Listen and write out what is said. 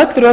öll rök